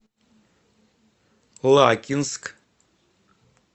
лакинск